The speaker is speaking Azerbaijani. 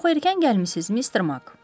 Çox erkən gəlmisiz Mister Mak.